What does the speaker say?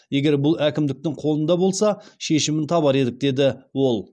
егер бұл әкімдіктің қолында болса шешімін табар едік деді ол